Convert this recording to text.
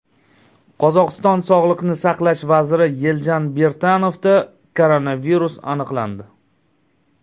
Qozog‘iston sog‘liqni saqlash vaziri Yeljan Birtanovda koronavirus aniqlandi.